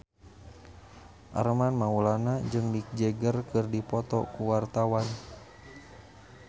Armand Maulana jeung Mick Jagger keur dipoto ku wartawan